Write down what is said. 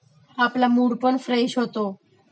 आपला मूडपण फ्रेश होतो